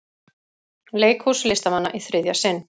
Leikhús listamanna í þriðja sinn